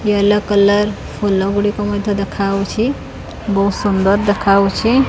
Yellow colour ଫୁଲ ଗୁଡ଼ିକ ମଧ୍ୟ ଦେଖାଅଉଚି। ବହୁତ୍ ସୁନ୍ଦର୍ ଦେଖାଅଉଚି।